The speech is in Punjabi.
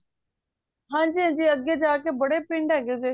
ਹਨਜੀ ਹਨਜੀ ਅੱਗੇ ਜਾ ਕ ਬੜੇ ਪਿੰਡ ਹੈਗੇ ਨੇ